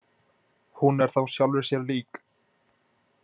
Hún er þá sjálfri sér lík.